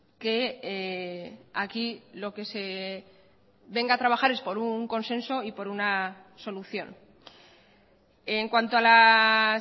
que aquí lo que se venga a trabajar es por un consenso y por una solución en cuanto a las